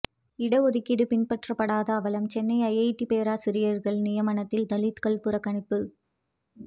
இட ஒதுக்கீடு பின்பற்றப்படாத அவலம் சென்னை ஐஐடி பேராசிரியர்கள் நியமனத்தில் தலித்கள் புறக்கணிப்பு